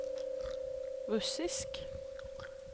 russisk